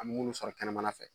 An mi munnu sɔrɔ kɛnɛmana fɛ